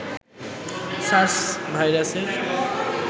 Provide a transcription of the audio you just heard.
SARS ভাইরাসের